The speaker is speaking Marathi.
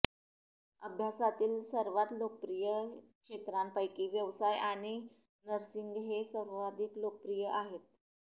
अभ्यासातील सर्वात लोकप्रिय क्षेत्रांपैकी व्यवसाय आणि नर्सिंग हे सर्वाधिक लोकप्रिय आहेत